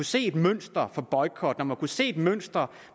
se et mønster for boykot når man har kunnet se et mønster